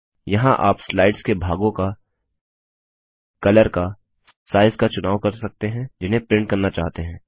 यहाँ आप स्लाइड्स के भागों का कलर का साइज़ का चुनाव कर सकते हैं जिन्हें प्रिंट करना चाहते हैं